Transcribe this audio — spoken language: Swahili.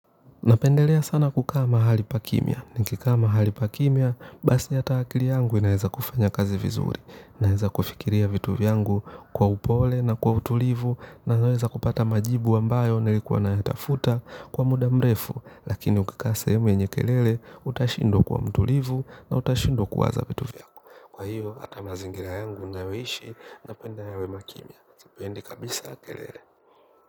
Napendelea sana kukaa mahali pakimya, nikikaa mahali pakimya, basi hata akili yangu inaeza kufanya kazi vizuri, naeza kufikiria vitu vyangu kwa upole na kwa utulivu, naweza kupata majibu ambayo nilikuwa nayatafuta kwa muda mrefu, lakini ukikaa sahemu yenye kelele utashindwa kuwa mtulivu na utashindwa kuwaza vitu vyako. Kwa hiyo, ata mazingira yangu nayoishi napenda yawe makimya. Sipendi kabisa kelele.